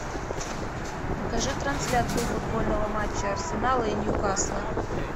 покажи трансляцию футбольного матча арсенала и ньюкасла